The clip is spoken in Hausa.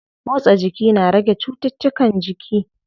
Motsa jiki na rage cuttutukan jiki.